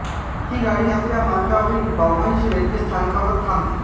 ही गाडी आपल्या मार्गावरील बव्हंश रेल्वे स्थानकांवर थांबते